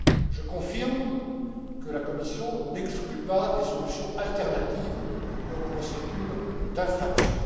Je confirme que la Commission n'exclut pas des solutions alternatives aux procédures d'infraction.